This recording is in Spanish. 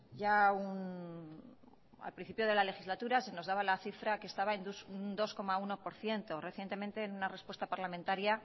ya un al principio de la legislatura se nos daba la cifra que estaba en un dos coma uno por ciento recientemente en una respuesta parlamentaria